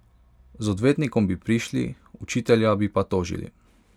Z odvetnikom bi prišli, učitelja bi pa tožili!